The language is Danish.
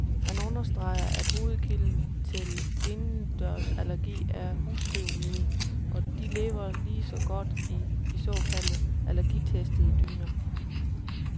Han understreger, at hovedkilden til indendørsallergi er husstøvmiden, og de lever lige så godt i de såkaldt allergitestede dyner.